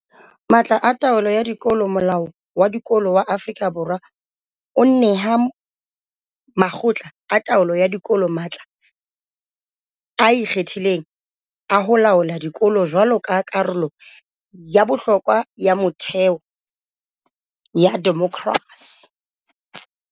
Matla a taolo ya dikolo Molao wa Dikolo wa Aforika Borwa o neha makgotla a taolo ya dikolo matla a ikgethileng a ho laola dikolo jwaloka karolo ya bohlokwa ya metheo ya demokerasi.